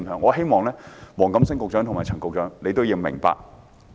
我希望黃錦星局長和陳肇始局長明白。